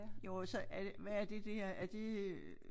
Jo og så er det hvad er det dér er det øh